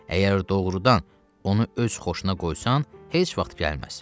Əgər doğurdan onu öz xoşuna qoysan, heç vaxt gəlməz.